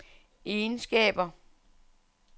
egenskaber